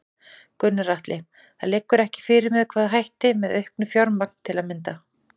Gunnar Atli: Það liggur ekki fyrir með hvaða hætti, með auknu fjármagn til að mynda?